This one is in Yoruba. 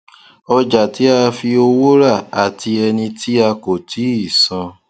ọjà tí a fi owó rà àti ẹni tí a kò tíì san